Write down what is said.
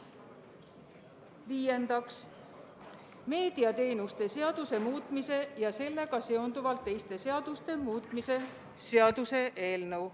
Viiendaks, meediateenuste seaduse muutmise ja sellega seonduvalt teiste seaduste muutmise seaduse eelnõu.